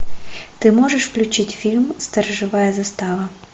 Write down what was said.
ты можешь включить фильм сторожевая застава